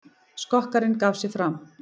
Skokkarinn gaf sig fram